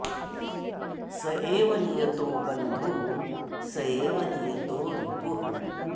स एव नियतो बन्धुः स एव नियतो रिपुः